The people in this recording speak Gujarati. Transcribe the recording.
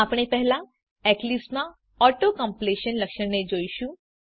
આપણે પહેલા એક્લીપ્સમાં ઓટો કમ્પ્લીશન લક્ષણને જોઈશું